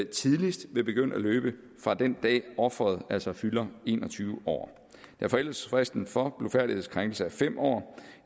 tidligst vil begynde at løbe fra den dag hvor offeret altså fylder en og tyve år da forældelsesfristen for blufærdighedskrænkelse er fem år